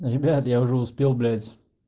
ребят я уже успел блять